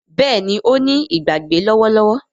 Béèni o ní Ìgbàgbé lówó lówó